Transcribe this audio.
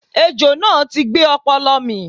Ejò náà ti gbé ọ̀pọ̀lọ́ mì